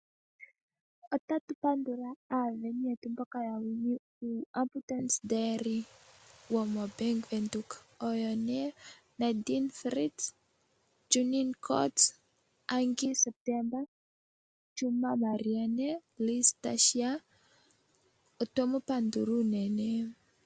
Ota tu pandula aasindani yetu mboka ya wini uu"Abandance Diary" wo moBank Windhoek. Oyo nee Nandine Fritz, Junine Kotze, Angie September, Chuma Marianne, Liz Tashiya, otwe mu pandula unene.